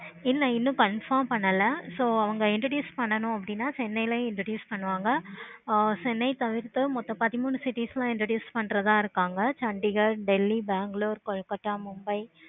இல்ல இன்னும் confirm பண்ணல. so அவங்க introduce பண்ணனும்னா chennai ளையும் introduce பண்ணுவாங்க. ஆஹ் chennai தவிர்த்து இன்னு பத்தி மூணு city ல introduce பண்ற தா இருக்காங்க. chandigaarh, delhi, bangalore, kolkatta, mumbai